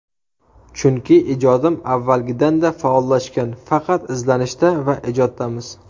Chunki ijodim avvalgidan-da faollashgan, faqat izlanishda va ijoddamiz.